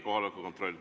Kohaloleku kontroll.